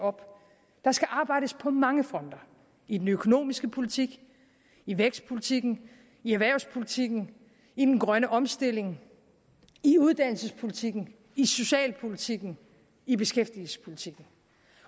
op der skal arbejdes på mange fronter i den økonomiske politik i vækstpolitikken i erhvervspolitikken i den grønne omstilling i uddannelsespolitikken i socialpolitikken i beskæftigelsespolitikken